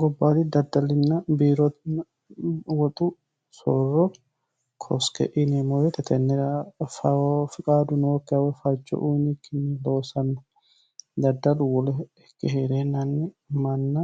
gobbaali daddalinna biiro woxu soorro koske inemowetetennira ffiqaadu nookkewe facho uyinikkinni loosanno daddalu wolo ikkehie'reennanni manna